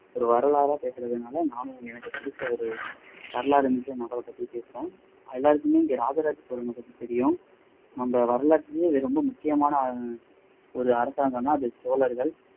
ஒரு வரலாறா பேசுனதுனால நானும் எனக்கு புடிச்ச ஒரு வரலாறு என்ற கண்ணோட்டத்துல பேசுறேன் எல்லாருக்குமே இங்க ராஜராஜ சோழனை பத்தி தெரியும் நம்ம வரலாற்றுலயே ரொம்ப முக்கியமான ஒரு அரசாங்கம்னா அது சோழர்கள்